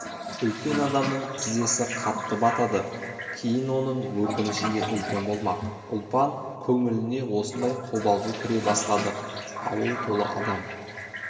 үлкен адамның тізесі қатты батады кейін оның өкініші де үлкен болмақ ұлпан көңіліне осындай қобалжу кіре бастады ауыл толы адам